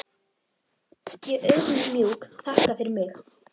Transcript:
Ég auðmjúk þakka fyrir mig.